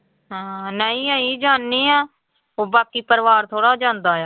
ਹਾਂ ਨਹੀਂ ਅਸੀਂ ਜਾਨੇ ਆਂ, ਉਹ ਬਾਕੀ ਪਰਿਵਾਰ ਥੋੜ੍ਹਾ ਜਾਂਦਾ ਆ।